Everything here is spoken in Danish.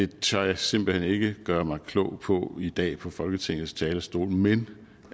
tør jeg simpelt ikke gøre mig klog på i dag på folketingets talerstol men